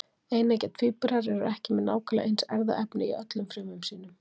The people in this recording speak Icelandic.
Eineggja tvíburar eru ekki með nákvæmlega eins erfðaefni í öllum frumum sínum.